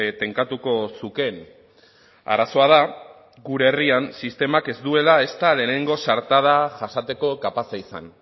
tenkatuko zukeen arazoa da gure herrian sistemak ez duela ezta lehengo zartada jasateko kapaza izan